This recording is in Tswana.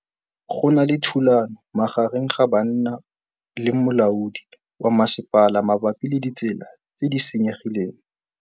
Go na le thulanô magareng ga banna le molaodi wa masepala mabapi le ditsela tse di senyegileng.